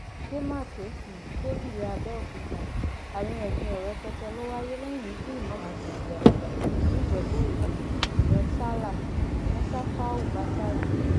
àdèmàkè um adébíyí abẹòkúta àríyànjiyàn rẹpẹtẹ ló wáyé lẹyìn ikú ìmàámu agbègbè atibá nìjẹbúòde ìyẹn sallah um musafau batare